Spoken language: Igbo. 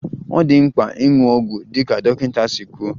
Ọ dị mkpa ịṅụ ọgwụ dịka dọkịta si kwuo